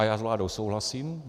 A já s vládou souhlasím.